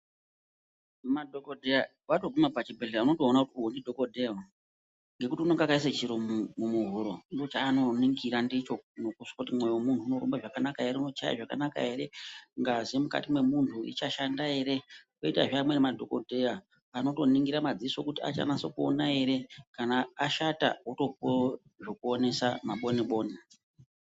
Madhokodheya pavanoguma pachibhedhlera unotoona kuti uyu ndidhokodheya uyu ngekuti unonga akaiswa chiro mumuhuro ndochaanoningira ndicho nokizwa kuti mwoyo womuntu unorumba zvakanaka ere unochaya zvakanaka ere , ngazi mukati mwemunhu ichashanda ere . Koitazve amweni madhokodheya anotoningira madziso kuti achanase kuona ere kana ashata wotopuwa zvekuonesa maboni boni.